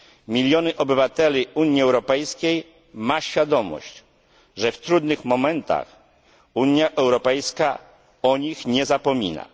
Miliony obywateli Unii Europejskiej ma świadomość, że w trudnych momentach Unia Europejska o nich nie zapomina.